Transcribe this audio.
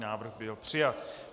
Návrh byl přijat.